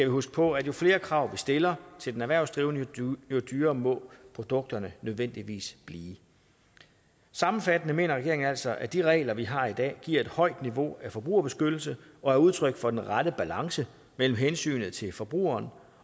huske på at jo flere krav vi stiller til den erhvervsdrivende jo dyrere må produkterne nødvendigvis blive sammenfattende mener regeringen altså at de regler vi har i dag giver et højt niveau af forbrugerbeskyttelse og er udtryk for den rette balance mellem hensynet til forbrugeren